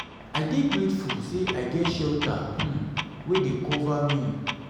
i dey grateful say i get shelter um wey dey um cover me.